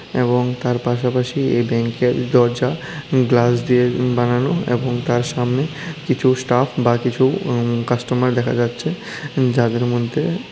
এবং তার পাশাপাশি এই ব্যাংকের দরজা গ্লাস দিয়ে বানানো এবং তার সামনে কিছু স্টাফ বা কিছু কাস্টমার দেখা যাচ্ছে যাদের মধ্যে--